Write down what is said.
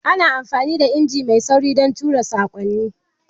Ana amfani da injimin fas domin tura saƙonni.